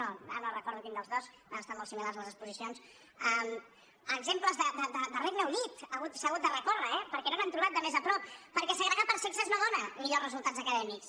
no ara no recordo quin dels dos han estat molt similars les exposicions a exemples de regne unit s’ha hagut de recórrer eh perquè no n’han trobat de més a prop perquè segregar per sexes no dóna millors resultats acadèmics